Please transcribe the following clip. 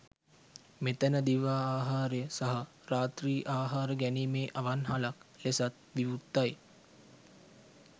මෙතැන දිවා ආහාරය සහ රාත්‍රී ආහාර ගැනීමේ අවන්හලක් ලෙසත් විවෘතයි.